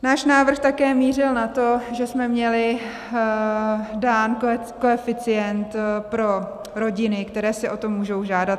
Náš návrh také mířil na to, že jsme měli dán koeficient pro rodiny, které si o to můžou žádat.